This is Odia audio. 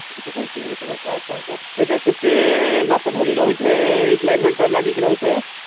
ଆଚ୍ଛା ଆଚ୍ଛା ସେଟା କେତେ ମାସ ଧରି ରହି ଥାଏ ଏଇ climate ଟା ଲାଗି କି ରହି ଥାଏ?